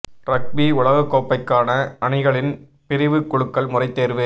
rugby உலகக் கோப்பைக்கான அணிகளின் பிரிவு குலுக்கல் முறை தேர்வு